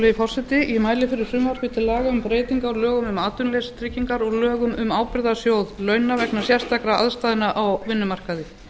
virðulegi forseti ég mæli fyrir frumvarpi til laga um breytingu á lögum um atvinnuleysistryggingar og lög um um ábyrgðarsjóð launa vegna sérstakra aðstæðna á vinnumarkaði